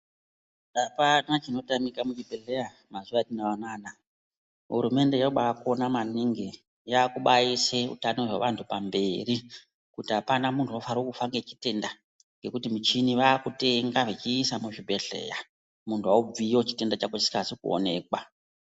Apana chino tamika mu chibhedhleya mazuva atinawo anana hurumende yobai kona maningi yakubai ise utanho hwe vantu pamberi kuti apana muntu unofanira kufa ne chitenda ngekuti michini vakutenga vechiisa muzvi bhedhleya muntu aubviyo chitenda chako chisizi kuonekwa.